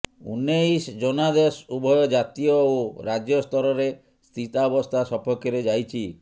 ଊଣେଇଶ ଜନାଦେଶ ଉଭୟ ଜାତୀୟ ଓ ରାଜ୍ୟ ସ୍ତରରେ ସ୍ଥିତାବସ୍ଥା ସପକ୍ଷରେ ଯାଇଛି